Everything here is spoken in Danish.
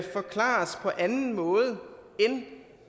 forklares på anden måde end